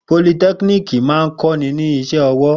Politẹ́kiniki máa ń kọ́ ni ní iṣẹ́ ọwọ́.